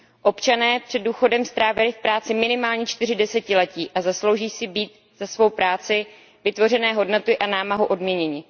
Občané před důchodem strávili v práci minimálně čtyři desetiletí a zaslouží si být za svou práci, vytvořené hodnoty a námahu odměněni.